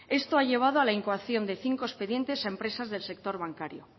esto ha llevado a la incoación de cinco expedientes a empresas del sector bancario